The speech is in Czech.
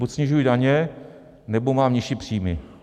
Buď snižuji daně, nebo mám nižší příjmy.